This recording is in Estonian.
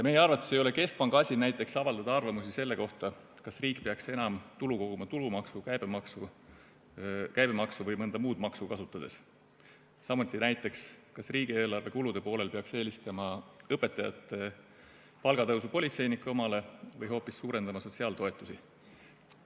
Meie arvates ei ole keskpanga asi näiteks avaldada arvamust selle kohta, kas riik peaks enam tulu koguma tulumaksu, käibemaksu või mõnda muud maksu kasutades, samuti näiteks see, kas riigieelarve kulude poolel peaks eelistama õpetajate palga tõusu politseinike omale või hoopis suurendama sotsiaaltoetusi.